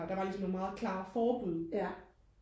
der var ligesom nogle meget klare forbud